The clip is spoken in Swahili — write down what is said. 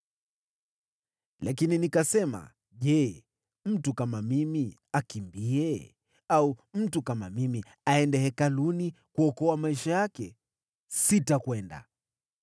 Lakini nikasema, “Je, mtu kama mimi akimbie? Au mtu kama mimi aende Hekaluni kuokoa maisha yake? Sitakwenda!”